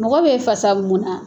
Mɔgɔ bɛ fasa mun na?